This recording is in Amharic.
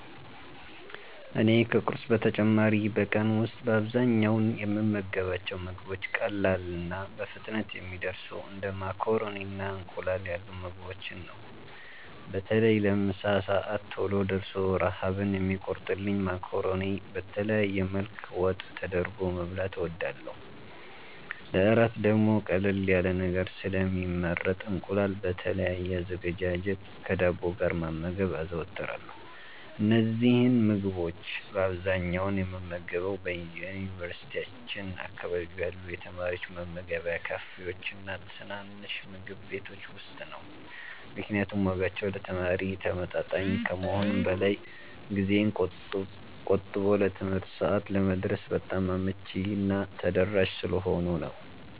እኔ ከቁርስ በተጨማሪ በቀን ውስጥ በአብዛኛው የምመገባቸው ምግቦች ቀላልና በፍጥነት የሚደርሱ እንደ ማካሮኒና እንቁላል ያሉ ምግቦችን ነው። በተለይ ለምሳ ሰዓት ቶሎ ደርሶ ረሃብን የሚቆርጥልኝን ማካሮኒ በተለያየ መልክ ወጥ ተደርጎበት መብላት እወዳለሁ። ለእራት ደግሞ ቀለል ያለ ነገር ስለሚመረጥ እንቁላል በተለያየ አዘገጃጀት ከዳቦ ጋር መመገብ አዘወትራለሁ። እነዚህን ምግቦች በአብዛኛው የምመገበው በዩኒቨርሲቲያችን አካባቢ ባሉ የተማሪዎች መመገቢያ ካፌዎችና ትናንሽ ምግብ ቤቶች ውስጥ ነው፤ ምክንያቱም ዋጋቸው ለተማሪ ተመጣጣኝ ከመሆኑም በላይ ጊዜን ቆጥቦ ለትምህርት ሰዓት ለመድረስ በጣም አመቺና ተደራሽ ስለሆኑ ነው።